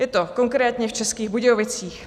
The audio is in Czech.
Je to konkrétně v Českých Budějovicích.